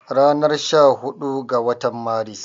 Ranar sha hudu ga watan Maris